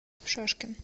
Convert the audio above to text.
шашкин